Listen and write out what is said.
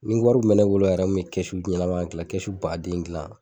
Ni wari kun me bolo yɛrɛ n kun be kɛsu ɲɛnɛma gilan kɛsu baden gilan